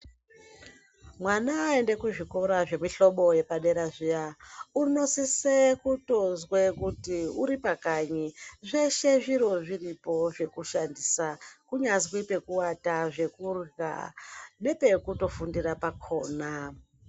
Mwana aende kuzvikora zvemihlobo yepadera zviya unosise kutozwe kuti uripakanyi zveshe zviro zviripo zvekushandisa kunyazwi pekuwata, zvekurya nepekutofundira pakona.